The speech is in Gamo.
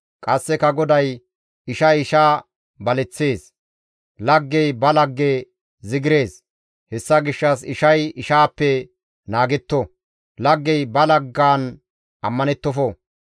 Qasseka GODAY, «Ishay isha baleththees; laggey ba lagge zigirees; hessa gishshas ishay ishaappe naagetto; laggey ba laggaan ammanettofo.